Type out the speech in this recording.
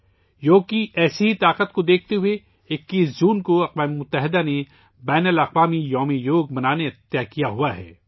یوگا کی ایسی ہی قوت کو دیکھتے ہوئے اقوام متحدہ نے 21 جون کو بین الاقوامی یوگا کا دن منانے کا فیصلہ کیا ہے